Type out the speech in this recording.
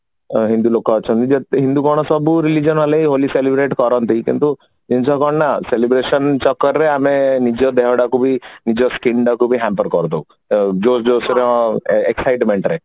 ହିନ୍ଦୁ ଲୋକ ଅଛନ୍ତି but ହିନ୍ଦୁ କଣ ସବୁ religion ଅଲଗା ହୁଅନ୍ତି celebrate କରନ୍ତି କିନ୍ତୁ ଜାଣିଛ କଣ ନା celebration ଚକର ରେ ଆମେ ନିଜ ଦେହଟାକୁ ବି ନିଜ skin ତାକୁ ବି hamper କରିଦଉ ଯୋ josh ର excitement ରେ